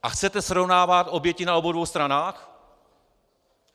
A chcete srovnávat oběti na obou dvou stranách?